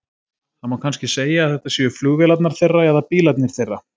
Það má kannski segja að þetta séu flugvélarnar þeirra eða bílarnir þeirra.